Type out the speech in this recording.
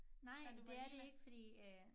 Nej det er det ikke fordi øh